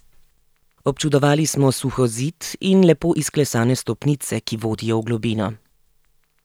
Občudovali smo suhozid in lepo izklesane stopnice, ki vodijo v globino.